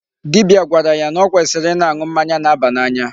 Dibia gwara yá nà ọ kwesịrị ịna-aṅụ mmanya na-aba n'anya.